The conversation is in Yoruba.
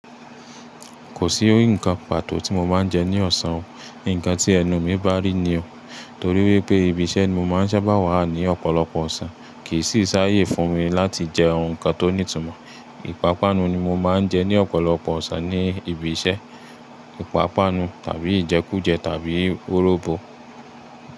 Kò sí ǹkan pàtó tí mo máa ń jẹ ní ọ̀sán o. Nǹkan tí ẹnu mi bá rí ni o. Torí wípé ibi iṣẹ́ ni mo máa ń sábà wà ní ọ̀pọ̀lọpọ̀ ọ̀sán, kì í sì sáyé fún mi láti jẹ oun kan tó ní ìtumọ̀. Ìpápánu ni mo máa ń jẹ ní ọ̀pọ̀lọpọ̀ ọ̀sán ní ibi iṣẹ́. Ìpápánu tàbí ìjẹkújẹ tàbí wóróbo.